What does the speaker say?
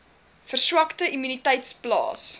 verswakte immuniteit plaas